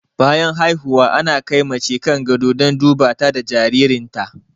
Bayan haihuwa ana kai mace kan gado don duba ta da jaririn ta